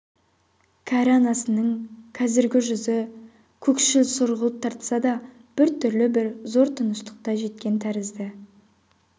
кәрі анасының қазіргі жүзі көкшіл сұрғылт тартса да біртүрлі бір зор тыныштыққа жеткен тәрізді